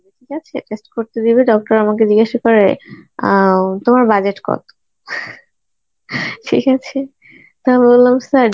ঠিক আছে, test করতে দিবে doctor আমাকে জিজ্ঞাসা করে অ্যাঁ তোমার budget কত ঠিক আছে. তো আমি বললাম sir